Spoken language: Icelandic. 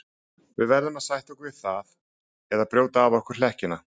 Við verðum að sætta okkur við það eða brjóta af okkur hlekkina.